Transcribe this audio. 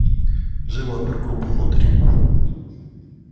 живо опергруппу внутрь